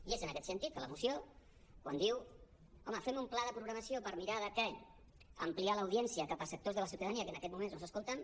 i és en aquest sentit que la moció quan diu home fem un pla de programació per mirar d’ampliar l’audiència cap a sectors de la ciutadania que en aquests moments no els escolten